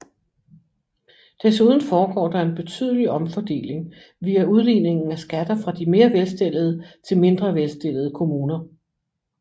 Desuden foregår der en betydelig omfordeling via udligningen af skatter fra de mere velstillede til mindre velstillede kommuner